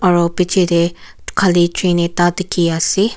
aro pichetey khali train ekta dikhi ase.